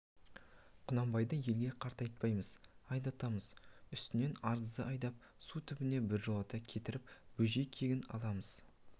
құнанбайды елге қайтартпаймыз айдатамыз үстінен арызды айдап су түбіне біржолата кетіреміз бөжей кегін аламыз